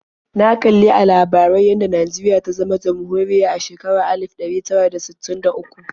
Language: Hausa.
Na kali a labarai yadda Najeriya ta zama jamhuriya a shekarar alif ɗari tara da sittin da uku.